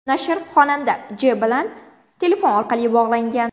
Nashr xonanda J. bilan telefon orqali bog‘langan.